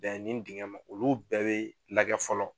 Bɛn ni dingɛn ma olu bɛɛ be lagɛ fɔlɔ